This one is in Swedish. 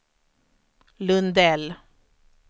Lundell